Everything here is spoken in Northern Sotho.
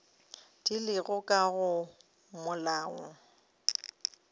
di lego ka go molao